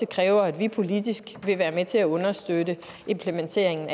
kræver at vi politisk vil være med til at understøtte implementeringen